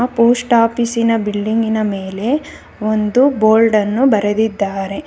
Post ಆಪೀಸಿನ ಬಿಲ್ಡಿಂಗಿನ ಮೇಲೆ ಒಂದು ಬೋರ್ಡನ್ನು ಬರೆದಿದ್ದಾರೆ.